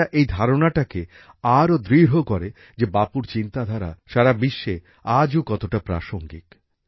এটা এই ধারণাটাকে আরো দৃঢ় করে যে বাপুর চিন্তাধারা সারা বিশ্বে আজও কতটা প্রাসঙ্গিক